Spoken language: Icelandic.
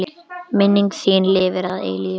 Minning þín lifir að eilífu.